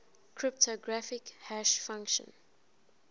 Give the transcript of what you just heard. cryptographic hash function